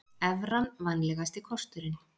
Evran vænlegasti kosturinn